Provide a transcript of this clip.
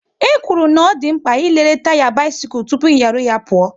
E kwuru na ọ dị mkpa ị lere taya bisikul tụpụ ị nyaru ya pụọ